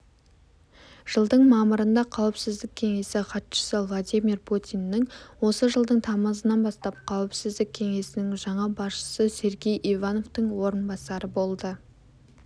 жылдың мамырында қауіпсіздік кеңесі хатшысы владимир путиннің осы жылдың тамызынан бастап қауіпсіздік кеңесінің жаңа басшысы сергей ивановтың орынбасары болды